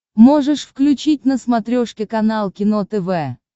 можешь включить на смотрешке канал кино тв